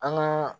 An ka